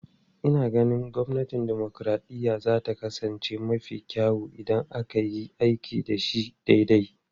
Ina ganin gwamnatin dimokuraɗiyya za ta kasance mafi kyau idan aka yi aiki da shi daidai.